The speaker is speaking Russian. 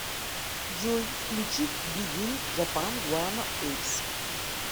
джой включить биг ин джапан гуано эйпс